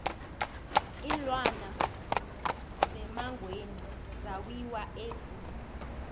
iinlwana zemangweni zawiwa e zoo